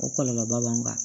O kɔlɔlɔba b'an kan